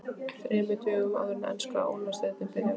ÞREMUR DÖGUM áður en enska Úrvalsdeildin byrjar?